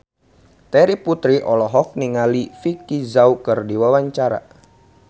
Terry Putri olohok ningali Vicki Zao keur diwawancara